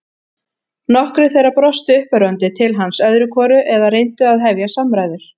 Nokkrir þeirra brostu uppörvandi til hans öðru hvoru eða reyndu að hefja samræður.